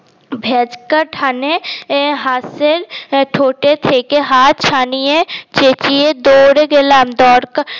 ভেজকা টানে হাসের ঠোঁটে থেকে হাত ছাড়িয়ে চেচিয়ে দৌড়ে গেলাম দরকা